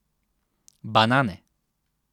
Banane.